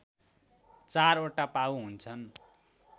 चारवटा पाउ हुन्छन्